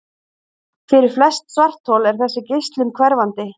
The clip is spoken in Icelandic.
Fyrir flest svarthol er þessi geislun hverfandi.